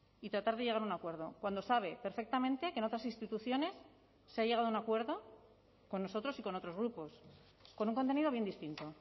y tratar de llegar a un acuerdo cuando sabe perfectamente que en otras instituciones se ha llegado a un acuerdo con nosotros y con otros grupos con un contenido bien distinto